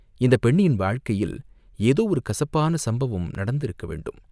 இந்தப் பெணின் வாழ்க்கையில் ஏதோ ஒரு கசப்பான சம்பவம் நடந்திருக்க வேண்டுமே!